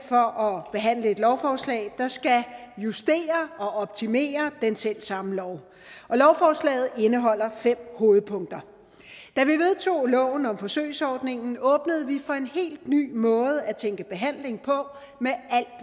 og behandler et lovforslag der skal justere og optimere den selv samme lov og lovforslaget indeholder fem hovedpunkter da vi vedtog loven om forsøgsordningen åbnede vi for en helt ny måde at tænke behandling på